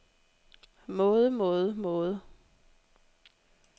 måde måde måde